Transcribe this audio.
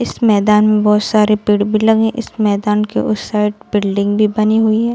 इस मैदान में बहुत सारे पेड़ भी लगे इस मैदान के उस साइड बिल्डिंग भी बनी हुई है।